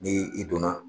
Ni i donna